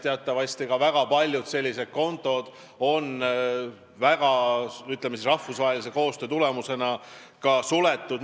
Teatavasti on väga paljud sellised kontod rahvusvahelise koostöö tulemusena suletud.